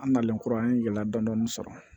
An nalen kura an ye yɛlɛ dɔn dɔnin sɔrɔ